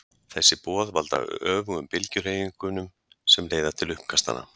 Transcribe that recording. þessi boð valda öfugum bylgjuhreyfingunum sem leiða til uppkastanna